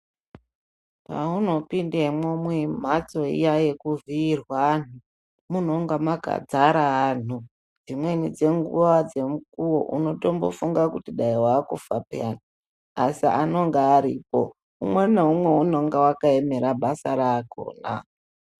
Pauno pindemwo mu mhatso iiya yeku vhiirwa anhu munonga maka dzara antu dzimweni dzenguva dze mukowo unotombo funga kuti dai wakufa peyani asi anonga aripo umwe na umwe unonga aka emera basa rakona.